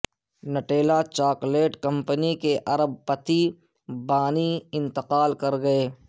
Nutella chocolate company کے ارب پتی بانی انتقال کر گئے